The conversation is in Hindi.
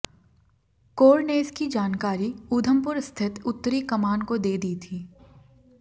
कोर ने इसकी जानकारी उधमपुर स्थित उत्तरी कमान को दे दी थी